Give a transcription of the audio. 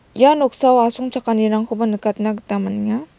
ia noksao asongchakanirangkoba nikatna gita man·enga.